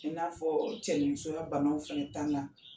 In n'a fɔ cɛnimusoya bana fɛnɛ ta la.